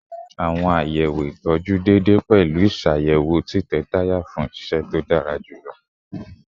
Awọn sọwedowo itọju deede pẹlu iṣayẹwo titẹ taya fun iṣẹ to dara julọ